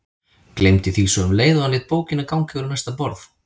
Gleymdi því svo um leið og hann lét bókina ganga yfir á næsta borð.